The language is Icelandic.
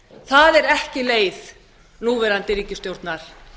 það er ekki leið núverandi ríkisstjórnar